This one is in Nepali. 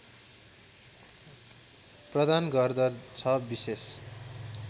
प्रदान गर्दछ विशेष